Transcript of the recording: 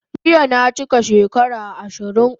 Jiya na chika shekara 20